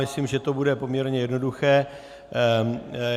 Myslím, že to bude poměrně jednoduché.